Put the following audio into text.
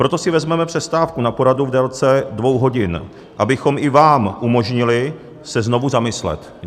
Proto si vezmeme přestávku na poradu v délce dvou hodin, abychom i vám umožnili se znovu zamyslet.